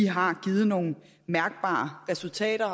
har givet nogle mærkbare resultater og